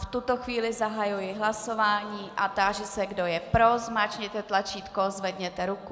V tuto chvíli zahajuji hlasování a táži se, kdo je pro, zmáčkněte tlačítko, zvedněte ruku.